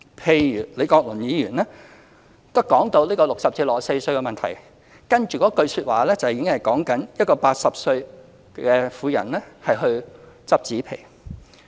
譬如當李國麟議員談到這個60歲至64歲的問題時，接着一句說話已經在說一個80歲的婦人拾紙皮。